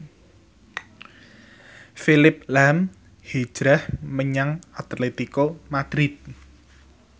Phillip lahm hijrah menyang Atletico Madrid